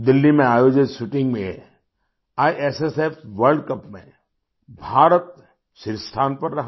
दिल्ली में आयोजित शूटिंग में आईएसएसएफ वर्ल्ड कप में भारत शीर्ष स्थान पर रहा